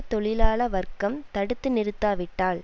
தொழிலாள வர்க்கம் தடுத்து நிறுத்தாவிட்டால்